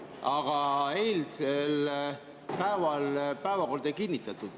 Aga eile päevakorda ei kinnitatud.